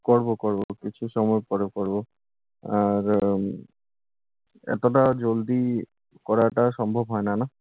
করবো, করবো। কিছু সময় পরে করবো। আর উম এতোটা জলদি করাটা সম্ভব হয় না, না?